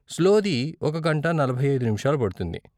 Slow ది ఒక గంట నలభై ఐదు నిముషాలు పడుతుంది.